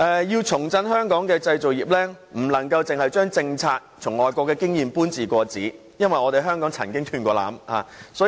要重振香港的製造業，不能單把外國的政策和經驗"搬字過紙"，因為香港曾經"斷纜"。